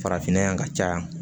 Farafinna yan ka caya